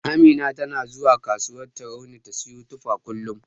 Amina tana zuwa kasuwar Tarauni ta siyo tufa kullum.